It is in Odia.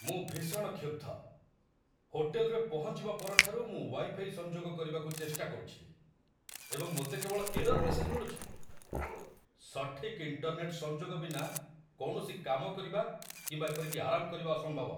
ମୁଁ ଭୀଷଣ କ୍ଷୁବ୍ଧ ! ହୋଟେଲରେ ପହଞ୍ଚିବା ପରଠାରୁ ମୁଁ ୱାଇ ଫାଇ ସଂଯୋଗ କରିବାକୁ ଚେଷ୍ଟା କରୁଛି, ଏବଂ ମୋତେ କେବଳ ଏରର୍ ମେସେଜ୍ ମିଳୁଛି। ସଠିକ୍ ଇଣ୍ଟରନେଟ୍‌ ସଂଯୋଗ ବିନା କୌଣସି କାମ କରିବା କିମ୍ବା ଏପରିକି ଆରାମ କରିବା ଅସମ୍ଭବ।